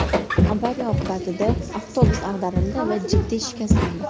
Avariya oqibatida avtobus ag‘darildi va jiddiy shikastlandi.